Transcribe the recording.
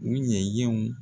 U ɲɛyɛw.